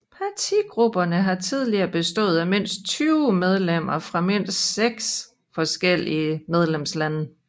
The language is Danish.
Partigrupperne har tidligere bestået af mindst 20 medlemmer fra mindst seks medlemslande